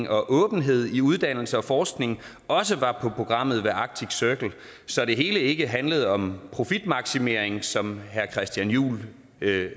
og åbenhed i uddannelse og forskning også var på programmet ved arctic circle så det hele ikke handlede om profitmaksimering som herre christian juhl